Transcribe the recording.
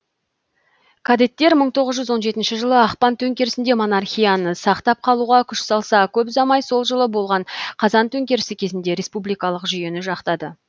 кадеттер мың тоғыз жүз он жетінші жылы ақпан төңкерісінде монархияны сақтап қалуға күш салса көп ұзамай сол жылы болған қазан төңкерісі кезінде республикалық жүйені жақтады